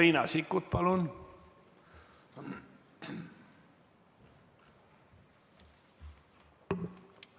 Riina Sikkut, palun,